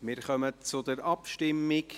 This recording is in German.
Wir kommen zur Abstimmung.